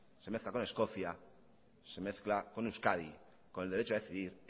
se mezcla con escocia se mezcla con euskadi con el derecho a decidir